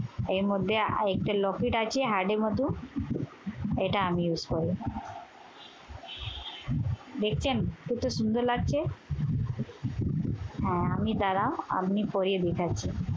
এর মধ্যে একটা locket আছে heart এর মতো, এটা আমি use করি। দেখছেন? কত সুন্দর লাগছে? হ্যাঁ আমনি দাঁড়াও, আমনি পরিয়ে দিতাছি।